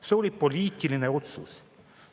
See oli poliitiline otsus.